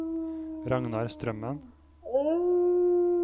Ragnar Strømmen